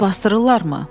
Onu basdırırlarmı?”